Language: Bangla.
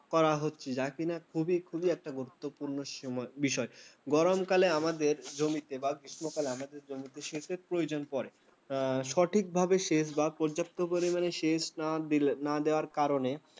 করা হচ্ছে৷ যা কিনা খুবই খুব একটা গুরুত্বপূর্ণ সময়, বিষয়. গরমকালে আমাদের জমিতে বা গ্রীষ্মকালে আমাদের জমিতে সেচের প্রয়োজন পড়ে। সঠিকভাবে সেচ বা পর্যাপ্ত পরিমাণে সেচ না দিলে না দেওয়ার কারণে